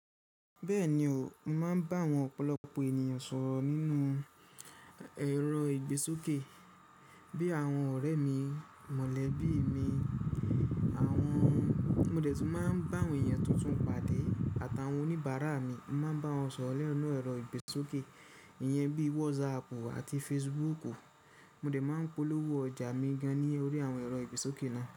Bẹ́ẹ̀ni o, mo máa ń bá àwọn ọ̀pọ̀lọpọ̀ ènìyàn sọ̀rọ̀ nínú ẹ̀rọ ìgbésókè bí àwọn ọ̀rẹ́ mi mọ̀lẹ́bí mi. Àwọn mo dẹ̀ tún máa ń bá àwọn ènìyàn tuntun pàdé àtàwọn oníbàárà mi, mo máa ń bá wọn sọ̀rọ̀ ninu ẹ̀rọ ìgbésókè, ìyẹn bí WhatsApp àti Facebook. Mo dẹ̀ máa ń polówó ọjà mi gan-an ní orí àwọn ẹ̀rọ ìgbésókè náà.